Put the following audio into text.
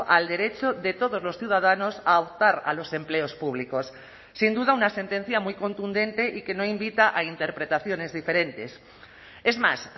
al derecho de todos los ciudadanos a optar a los empleos públicos sin duda una sentencia muy contundente y que no invita a interpretaciones diferentes es más